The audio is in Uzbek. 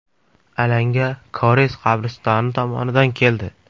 Alanga koreys qabristoni tomonidan keldi.